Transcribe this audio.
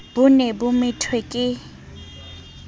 bo ne bo methwe ke